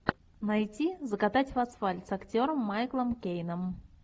найти закатать в асфальт с актером майклом кейном